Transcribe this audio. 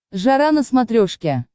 жара на смотрешке